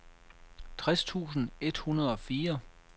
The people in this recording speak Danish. tres tusind et hundrede og fire